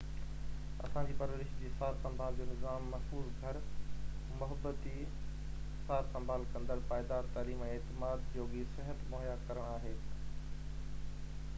اسان جي پرورش جي سار سنڀال جو نظام محفوظ گهر محبتي سار سنڀال ڪندڙ پائيدار تعليم ۽ اعتماد جوڳي صحت مهيا ڪرڻ آهي